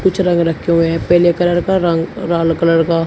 कुछ रंग रखे हुए हैं। पेले कलर का रंग राल कलर का --